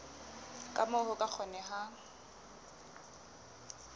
ka moo ho ka kgonehang